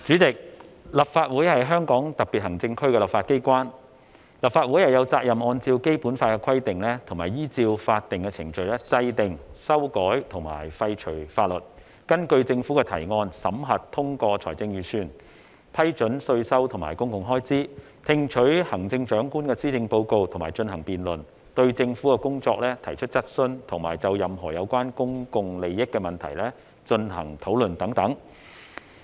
主席，立法會是香港特別行政區的立法機關，立法會有責任按照《基本法》的規定及依照法定程序制定、修改和廢除法律，根據政府的提案，審核、通過財政預算，批准稅收和公共開支，聽取行政長官的施政報告並進行辯論，對政府的工作提出質詢，以及就任何有關公共利益的問題進行討論等。